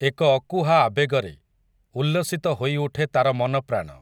ଏକ ଅକୁହା ଆବେଗରେ, ଉଲ୍ଲସିତ ହୋଇଉଠେ ତା'ର ମନ ପ୍ରାଣ ।